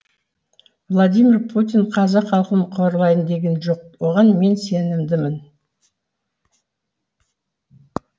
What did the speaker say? владимир путин қазақ халқын қорлайын деген жоқ оған мен сенімдімін